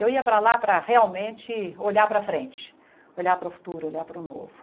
Eu ia para lá para realmente olhar para frente, olhar para o futuro, olhar para o novo.